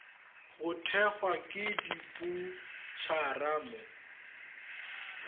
go thekgwa ke diboutšhara mo